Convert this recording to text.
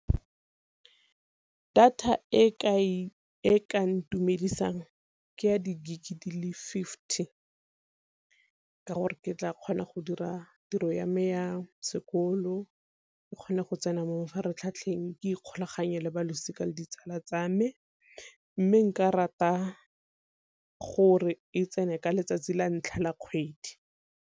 Data e ka ntumedisang ke ya di-gig di le fifty ka gore ke tla kgona go dira tiro ya me yang sekolo, ke kgone go tsena mo mafaratlhatlheng ke ikgolaganye le balosika le ditsala tsa me. Mme nka rata gore e tsene ka letsatsi la ntlha la kgwedi.